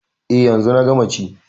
E, yanzu na gama ci.